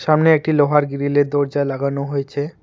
সামনে একটি লোহার গিরিলের দরজা লাগানো হয়েছে।